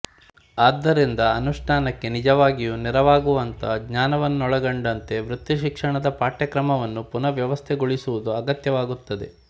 ಆದ್ದರಿಂದ ಅನುಷ್ಠಾನಕ್ಕೆ ನಿಜವಾಗಿಯೂ ನೆರವಾಗುವಂಥ ಜ್ಞಾನವನ್ನೊಳಗೊಂಡಂತೆ ವೃತ್ತಿಶಿಕ್ಷಣದ ಪಠ್ಯಕ್ರಮವನ್ನು ಪುನಃ ವ್ಯವಸ್ಥೆಗೊಳಿಸುವುದು ಅಗತ್ಯವಾಗುತ್ತದೆ